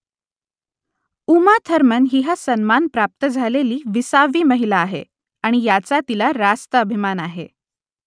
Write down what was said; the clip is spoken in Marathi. उमा थर्मन ही हा सन्मान प्राप्त झालेली विसावी महिला आहे आणि याचा तिला रास्त अभिमान आहे